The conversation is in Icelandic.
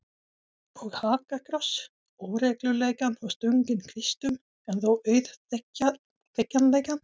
Og hakakross, óreglulegan og stunginn kvistum en þó auðþekkjanlegan.